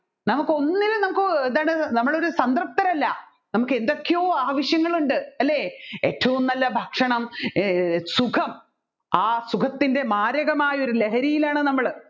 നമ്മുക്ക് ഒന്നിന്നും നമ്മുക്ക് എന്താണ് നമ്മൾ ഒരു സംതൃപ്‌തരല്ല നമ്മുക്ക് എന്തൊക്കെയോ ആവശ്യങ്ങൾ ഉണ്ട് ഏറ്റവും നല്ല ഭക്ഷണം എ സുഖം ആ സുഖത്തിൻെറ മാരകമായ ഒരു ലഹരിയിലാണ് നമ്മൾ